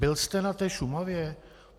Byl jste na té Šumavě?